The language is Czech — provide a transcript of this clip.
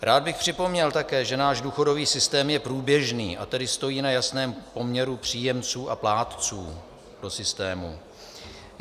Rád bych připomněl také, že náš důchodový systém je průběžný, a tedy stojí na jasném poměru příjemců a plátců do systému.